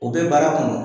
O bɛ baara kɔnɔ